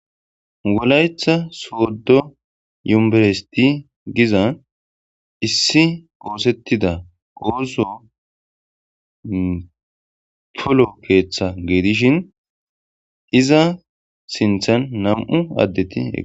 Wolayetha sooddo yumberesti giza issi qoosettida qooso polo keeththa geedishin iza sinthan nam7u addeti e